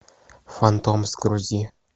фантом загрузи